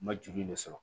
Ma joli de sɔrɔ